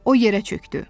O yerə çökdü.